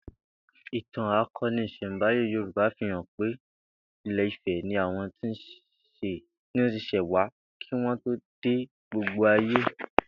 Ìtàn ako̩ni ìs̩è̩nbáyé Yorúbá fi hàn pé Ilé Ifè̩ ni àwo̩n ti s̩è̩ wá kí wó̩n tó dé gbogbo ayé